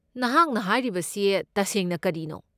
ꯅꯍꯥꯛꯅ ꯍꯥꯏꯔꯤꯕꯁꯦ ꯇꯁꯦꯡꯅ ꯀꯔꯤꯅꯣ?